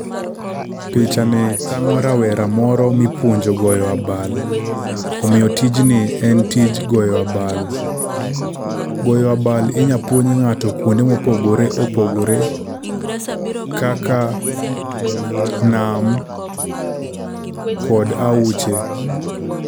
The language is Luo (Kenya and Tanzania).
Pichani tang'o rawera moro mipuonjo goyo abal. Omiyo tijni en tij goyo abal. Goyo abal inyalo puonj ng'ato kuonde mopogore opogore kaka nam kod aoche.